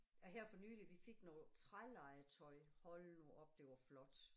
Æh her for nylig vi fik noget trælegetøj, hold nu op det var flot